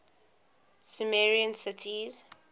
sumerian cities